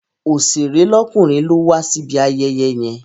Oṣèré lọ́kùnrin ló wa síbi ayẹyẹ yẹn.